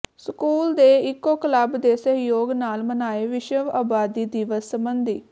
school ਦੇ eco club ਦੇ ਸਹਿਯੋਗ ਨਾਲ ਮਨਾਏ ਵਿਸ਼ਵ ਆਬਾਦੀ ਦਿਵਸ ਸਬੰਧੀ